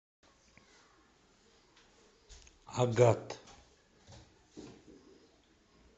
агат